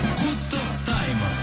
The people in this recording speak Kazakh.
құттықтаймыз